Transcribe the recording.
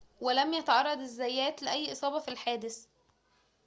ولم يتعرض الزيات لأي إصابة في الحادث